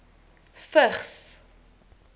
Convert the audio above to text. vigs